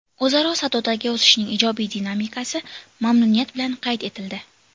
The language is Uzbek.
O‘zaro savdodagi o‘sishning ijobiy dinamikasi mamnuniyat bilan qayd etildi.